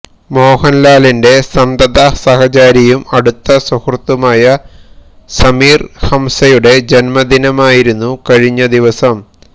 മോഹന്ലാലിന്റെ സന്തതസഹചാരിയും അടുത്ത സുഹൃത്തുമായ സമീര് ഹംസയുടെ ജന്മദിനമായിരുന്നു കഴിഞ്ഞ ദിവസം